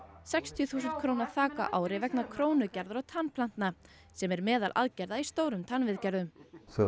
sextíu þúsund króna þak á ári vegna krónugerðar og tannplanta sem er meðal aðgerða í stórum tannviðgerðum þegar